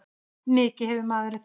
Mikið hafði maðurinn þjáðst.